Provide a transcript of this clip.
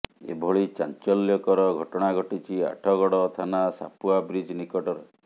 ଏଭଳି ଚାଞ୍ଚଲ୍ୟକର ଘଟଣା ଘଟିଛି ଆଠଗଡ ଥାନା ସାପୁଆ ବ୍ରିଜ୍ ନିକଟରେ